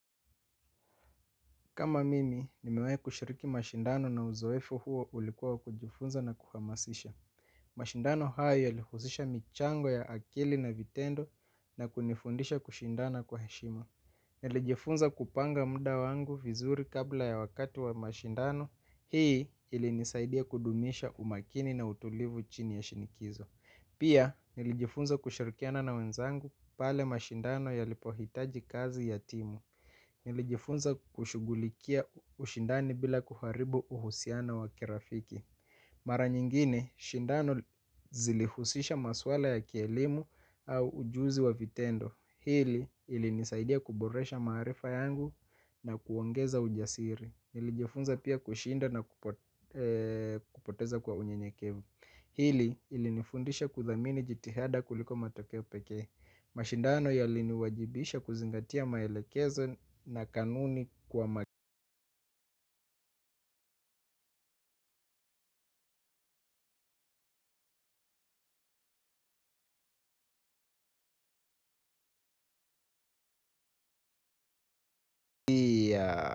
Kama mimi, nimewai kushiriki mashindano na uzoefo huo ulikuwa wa kujifunza na kuhamasisha. Mashindano hayo yalihuzisha michango ya akili na vitendo na kunifundisha kushindana kwa heshima. Nilijifunza kupanga mda wangu vizuri kabla ya wakati wa mashindano. Hii ilinisaidia kudumisha umakini na utulivu chini ya shinikizo. Pia nilijifunza kushirikiana na wenzangu pale mashindano yalipohitaji kazi ya timu. Nili jifunza kushugulikia ushindani bila kuharibu uhusiano wa kirafiki. Mara nyingine, shindano zili husisha maswala ya kielimu au ujuzi wa vitendo. Hili ili nisaidia kuboresha maarifa yangu na kuongeza ujasiri. Nili jifunza pia kushinda na kupoteza kwa unyenyekevu. Hili ili nifundisha kuthamini jitihada kuliko matokeo pekee. Mashindano yali ni wajibisha kuzingatia maelekezo na kanuni kwa magia.